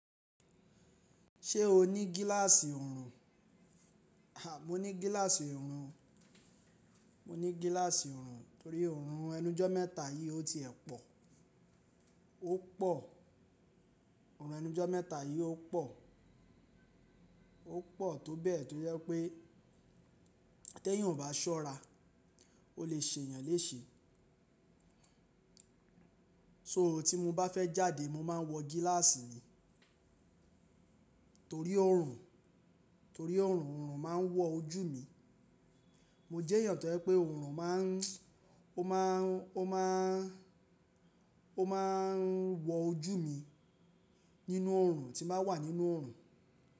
Ṣé o ní gíláàsì ọrùn? À, mo ní gíláàsì ọrùn, mo ní gíláàsì ọrùn torí ọrùn ẹnu ijọ́ mẹ́ta yìí ó ti ẹ̀ pọ̀, ó pọ̀. Ọrùn ẹnu ijọ́ mẹ́ta yìí ó pọ̀, ó pọ̀ tó bẹ́ẹ̀ tó jepẹ tẹ́ eeyan ò bá ṣọ́ra, ó lè ṣe èeyàn léṣe. So tí mo bá fẹ́ jáde mo máa ń wọ gíláàsì mi torí ọrùn, torí ọrùn, ọrùn máa ń wọ ojú mi. Mo jẹ èèyàn tó jẹ pé ọrùn máa ń, ó máa ń, ó máa ń, ó máa ń wọ ojú mi nínú ọrùn tí n bàa wà nínú ọrùn.